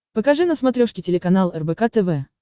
покажи на смотрешке телеканал рбк тв